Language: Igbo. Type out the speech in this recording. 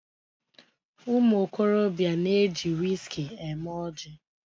Ụmụokorobịa na-eji wiski eme oji